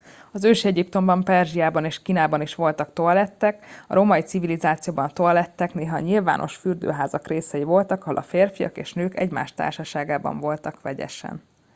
az ősi egyiptomban perzsiában és kínában is voltak toalettek a római civilizációban a toalettek néha a nyilvános fürdőházak részei voltak ahol a férfiak és nők egymás társaságban voltak vegyesen